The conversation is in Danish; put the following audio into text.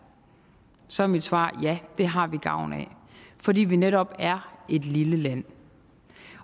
så er mit svar ja det har vi gavn af fordi vi netop er et lille land